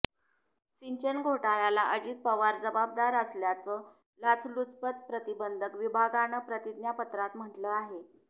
सिंचन घोटाळ्याला अजित पवार जबाबदार असल्याचं लाचलुचपत प्रतिबंधक विभागानं प्रतिज्ञापत्रात म्हटलं आहे